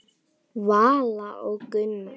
Vala og Gunnar.